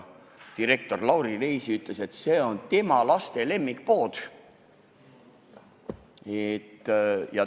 Direktor Lauri Leesi ütles, et see on tema laste lemmikpood.